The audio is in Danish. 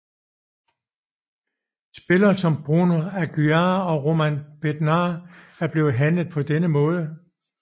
Spillere som Bruno Aguiar og Roman Bednář er blevet handlet på denne måde